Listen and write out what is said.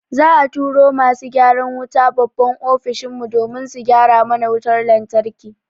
Za'a turo masu gyaran wuta babban Ofishin mu domin su gyara mana wutar lantarki.